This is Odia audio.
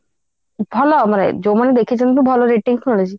କିନ୍ତୁ ଭଲ ଭାବରେ ଯୋଉମାନେ ଦେଖିଛନ୍ତି ଭଲ rating ମିଳିଛି